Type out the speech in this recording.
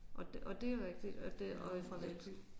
Og det og det er rigtigt og det og